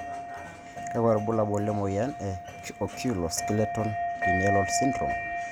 kakwa ibulaul le moyian e Oculo skeletal renal syndrome?